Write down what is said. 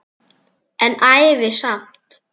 En ævi samt.